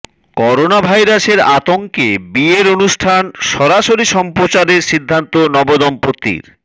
corona ভাইরাসের আতঙ্কে বিয়ের অনুষ্ঠান সরাসরি সম্প্রচারের সিদ্ধান্ত নব দম্পতির